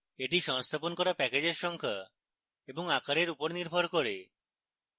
এটি সংস্থাপন করা প্যাকেজের সংখ্যা এবং আকারের উপর নির্ভর করে